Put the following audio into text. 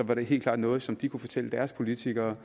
var det helt klart noget som de kunne fortælle deres politikere